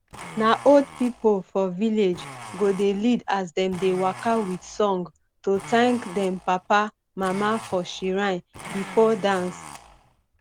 na old pipo for village go dey lead as dem dey waka with song to thank dem papa mama for shrine bifo dance